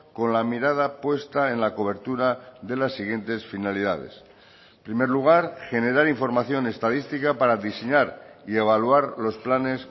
con la mirada puesta en la cobertura de las siguientes finalidades en primer lugar generar información estadística para diseñar y evaluar los planes